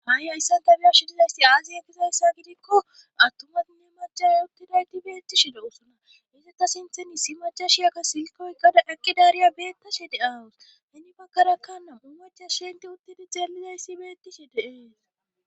Ha'i hayssanta biyoshidizayssi aazi ekizayssa gidikko attumatinne macame uttidayti beettishi da usana izata sintheni si macashi aka silkoykada eqqidaariya beetta shi de aawus heni bagkarakkana bumeca shente uttedi zaelidays si beettishi deees.